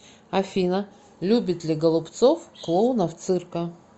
афина любит ли голубцов клоунов цирка